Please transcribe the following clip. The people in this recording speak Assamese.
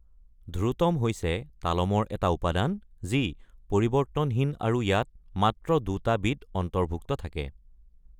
ধ্ৰুতম হৈছে এটা তালমৰ উপাদান যিটো পৰিৱৰ্তনহীন আৰু ইয়াত মাত্ৰ দুটা বীট অন্তৰ্ভুক্ত থাকে।